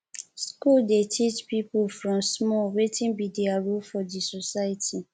school dey teach pipo from small wetin be their role for di society